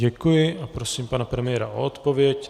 Děkuji a prosím pana premiéra o odpověď.